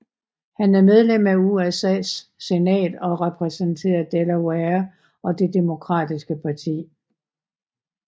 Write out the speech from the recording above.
Han medlem af USAs senat og repræsenterer Delaware og Det demokratiske parti